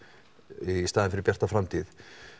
í staðin fyrir Bjarta framtíð